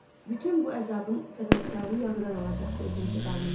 Bütün bu əzabın səbəbkarı Yağırdan alacaqdı öz intiqamını.